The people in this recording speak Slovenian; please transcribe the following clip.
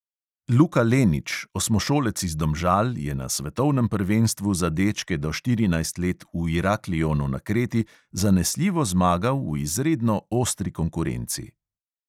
Luka lenič, osmošolec iz domžal, je na svetovnem prvenstvu za dečke do štirinajst let v iraklionu na kreti zanesljivo zmagal v izredno ostri konkurenci.